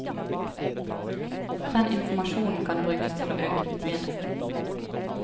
Den informasjonen kan brukes til å øke fortjenesten.